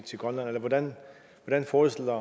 grønland eller hvordan forestiller